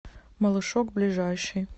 малышок ближайший